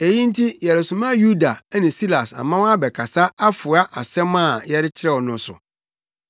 Eyi nti, yɛresoma Yuda ne Silas ama wɔabɛkasa afoa asɛm a yɛrekyerɛw no so.